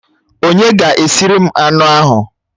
Onye ga-esiri m anụ ahụ?